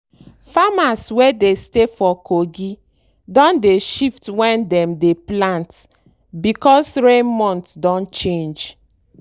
farmers wey dey stay for kogi don dey shift when dem dey plant because rain month don change.